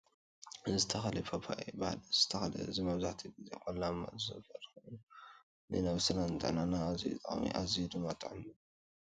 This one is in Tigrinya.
እዚ ተክሊ እዚ ፓፓዮ ይባሃል ። እዚ ተክሊ እዚ መብዛሕትኡ ኣብ ቆላማ ዝፈሪ ኮይኑ ንነብስናን ንጥዕናናን ኣዝዩ ጠቃሚ እዩ። ኣዝዩ ድማ ጥዑም ምግቢ እዩ።